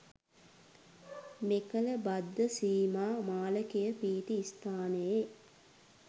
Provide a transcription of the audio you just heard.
මෙකල බද්ධ සීමා මාලකය පිහිටි ස්ථානයේ